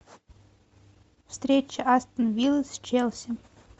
встреча астон виллы с челси